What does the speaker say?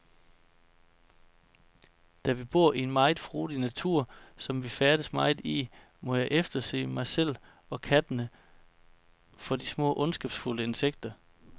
Da vi bor i en meget frodig natur, som vi færdes meget i, må jeg efterse mig selv og kattene for de små ondskabsfulde insekter.